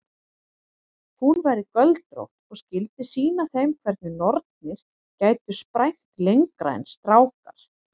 Hún væri göldrótt og skyldi sýna þeim hvernig nornir gætu sprænt lengra en strákar.